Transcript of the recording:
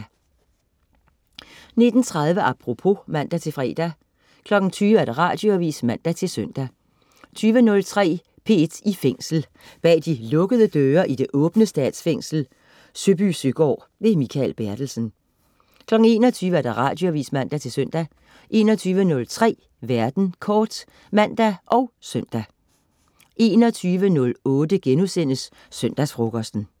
19.30 Apropos (man-fre) 20.00 Radioavis (man-søn) 20.03 P1 i Fængsel. Bag de lukkede døre i det åbne Statsfængsel Søbysøgaard. Mikael Bertelsen 21.00 Radioavis (man-søn) 21.03 Verden kort (man og søn) 21.08 Søndagsfrokosten*